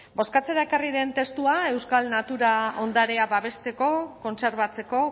bozkatzera ekarri den testua euskal natura ondarea babesteko kontserbatzeko